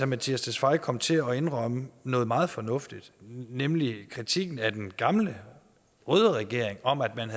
mattias tesfaye kom til at indrømme noget meget fornuftigt nemlig kritikken af den gamle røde regering om at man